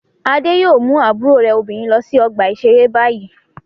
Adé yóò mú àbúrò rẹ̀ obìnrin lọ sí ọgbà-ìṣeré báyìí.